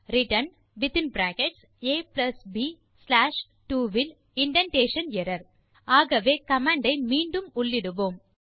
returnaப்2 இல் indentation error ஆகவே command ஐ மீண்டும் உள்ளிடுவோம்